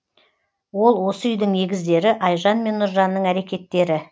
ол осы үйдің егіздері айжан мен нұржанның әрекеттері